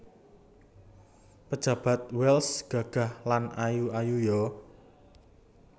Pejabat Wells gagah lan ayu ayu yo